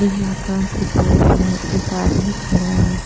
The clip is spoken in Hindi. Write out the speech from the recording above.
नीला आकाश दिखाई दे रहा है एक आदमी खड़ा है।